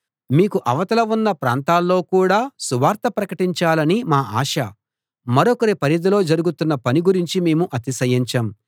మీకు అవతల ఉన్న ప్రాంతాల్లో కూడా సువార్త ప్రకటించాలనీ మా ఆశ మరొకరి పరిధిలో జరుగుతున్న పని గురించి మేము అతిశయించం